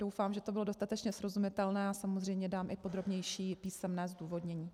Doufám, že to bylo dostatečně srozumitelné, a samozřejmě dám i podrobnější písemné zdůvodnění.